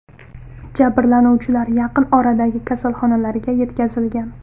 Jabrlanuvchilar yaqin oradagi kasalxonalarga yetkazilgan.